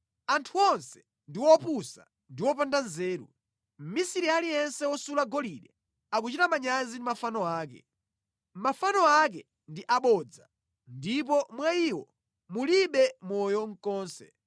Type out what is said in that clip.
“Anthu onse ndi opusa ndiponso opanda nzeru; mmisiri aliyense wosula golide akuchita manyazi ndi mafano ake. Mafano akewo ndi abodza; alibe moyo mʼkati mwawo.